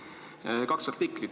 On veel kaks artiklit.